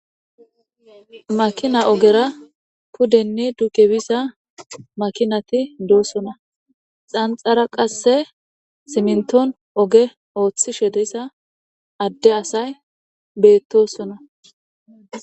makina ogera pudenne dukebisa makinati doossona xanxara qasse simnton oge ooththishe deyssa adde asay beettosona.